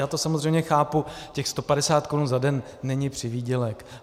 Já to samozřejmě chápu, těch 150 korun za den není přivýdělek.